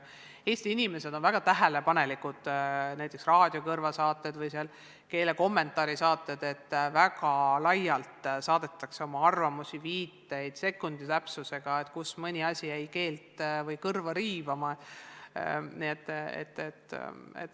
Eesti inimesed on väga tähelepanelikud, näiteks "Raadiokõrva" saadete või mingite keelekommentaaride saadete suhtes – väga laialt saadetakse oma arvamusi-viiteid, sekundi täpsusega, kus mõni asi jäi kõrva riivama.